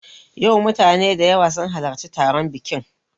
Yau mutane da yawa sun halarci taron biƙin